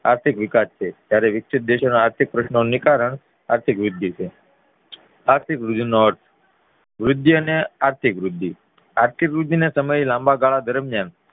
આર્થિક વિકાસ છે ત્યારે વિકસિત દેશો નું આર્થિક પ્રસ્નોનું નીકરણ આર્થિક વૃદ્ધિ છે વૃદ્ધિ અને આર્થીક વૃદ્ધિ. આર્થિક વૃદ્ધિ ના સમયે લાંબાગાળા દરમ્યાન